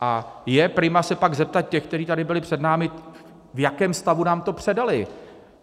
A je prima se pak zeptat těch, kteří tady byli před námi, v jakém stavu nám to předali.